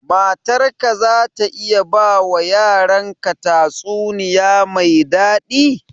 Matar ka za ta iya ba wa yaran ka tatsuniya mai daɗi?